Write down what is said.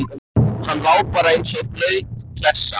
Hann lá bara og lá eins og blaut klessa.